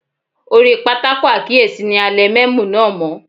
Orí pátákó àkíyèsí ni a lẹ mẹ́mò náà mọ́.